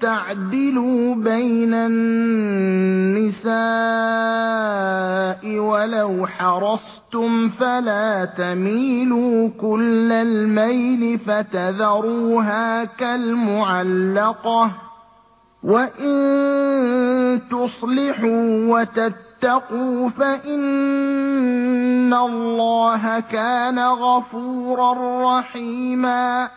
تَعْدِلُوا بَيْنَ النِّسَاءِ وَلَوْ حَرَصْتُمْ ۖ فَلَا تَمِيلُوا كُلَّ الْمَيْلِ فَتَذَرُوهَا كَالْمُعَلَّقَةِ ۚ وَإِن تُصْلِحُوا وَتَتَّقُوا فَإِنَّ اللَّهَ كَانَ غَفُورًا رَّحِيمًا